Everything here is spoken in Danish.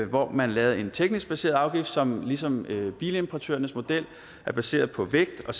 hvor man lavede en teknisk baseret afgift som ligesom bilimportørernes model er baseret på vægt og